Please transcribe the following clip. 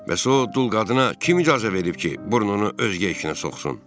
Bəs o dul qadına kim icazə verib ki, burnunu özgə işinə soxsun?